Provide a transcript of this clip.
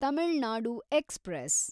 Tamil Nadu express